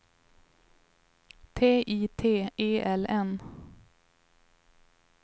T I T E L N